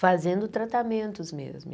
fazendo tratamentos mesmo.